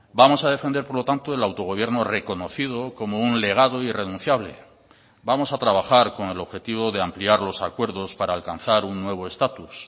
vamos a defender por lo tanto el autogobierno reconocido como un legado irrenunciable vamos a trabajar con el objetivo de ampliar los acuerdos para alcanzar un nuevo estatus